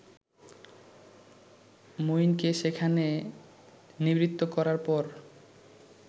মইনকে সেখানে নিবৃত্ত করার পর